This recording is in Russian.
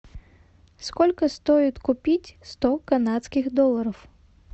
сколько стоит купить сто канадских долларов